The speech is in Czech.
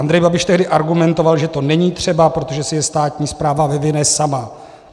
Andrej Babiš tehdy argumentoval, že to není třeba, protože si je státní správa vyvine sama.